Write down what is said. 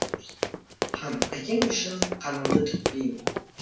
хан әкең үшін қаныңды төкпейін